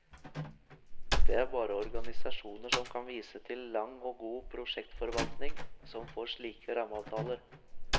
Det er bare organisasjoner som kan vise til lang og god prosjektforvaltning som får slike rammeavtaler.